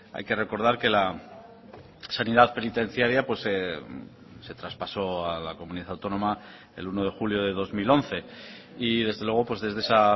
hay que recordar que la sanidad penitenciaria se traspasó a la comunidad autónoma el uno de julio de dos mil once y desde luego desde esa